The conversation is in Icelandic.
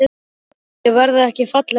Hreint út: Ég verð ekki fallegt lík.